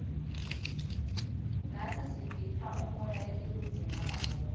natsi sitipha umoya letiwudzingako